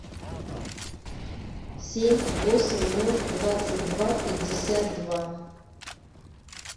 семь восемь ноль двадцать два пятьдесят два